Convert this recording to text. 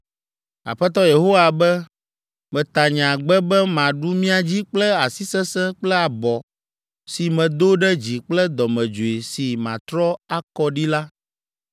Aƒetɔ Yehowa be, ‘Meta nye agbe be maɖu mia dzi kple asi sesẽ kple abɔ si medo ɖe dzi kple dɔmedzoe si matrɔ akɔ ɖi la.